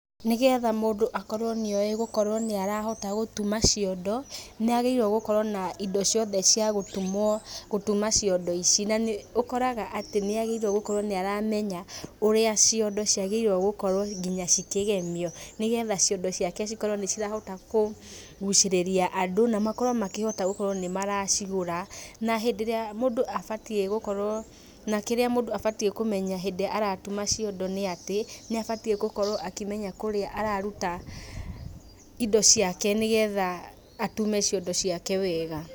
Nĩgetha mũndũ akorwo nĩoĩ gũkorwo nĩarahota gũtuma ciondo, nĩ agĩrĩirwo gũkorwo na indo ciothe cia gũtumwo gũtuma ciondo ici. Na nĩ ũkoraga atĩ nĩ agĩrĩirwo gũkorwo nĩ aramenya ũrĩa ciondo ciagĩrĩirwo gũkorwo akĩmenya nginya cikĩgemio nĩ getha ciondo ciake cikorwo nĩ cirahota kũgucĩrĩria andũ na makorwo makĩhota gũkorwo nĩ maracigũra. Na hĩndĩ ĩrĩa mũndũ abatiĩ gũkorwo na kĩrĩa mũndũ abatiĩ kũmenya hĩndĩ ĩrĩa aratuma ciondo nĩ atĩ, nĩ abatiĩ gũkorwo akĩmenya kũrĩa araruta indo ciake nĩ getha atume ciondo ciake wega.